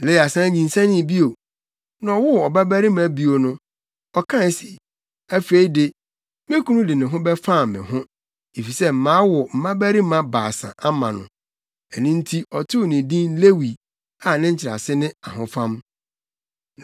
Lea san nyinsɛnee bio. Na ɔwoo ɔbabarima bio no, ɔkae se, “Afei de, me kunu de ne ho bɛfam me ho, efisɛ mawo mmabarima baasa ama no.” Ɛno nti, ɔtoo no din Lewi a nkyerɛase ne “Ahofam.”